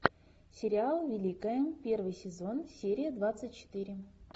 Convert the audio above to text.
сериал великая первый сезон серия двадцать четыре